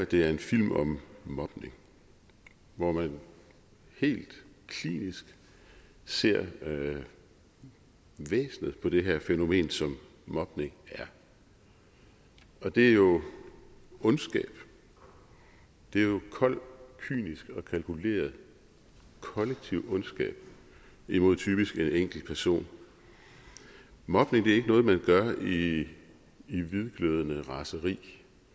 det er en film om mobning hvor man helt klinisk ser væsenet på det her fænomen som mobning er det er jo ondskab det er kold kynisk og kalkuleret kollektiv ondskab imod typisk en enkelt person mobning er ikke noget man gør i i hvidglødende raseri